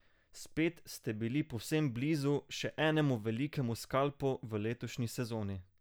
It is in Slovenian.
Spet ste bili povsem blizu še enemu velikemu skalpu v letošnji sezoni.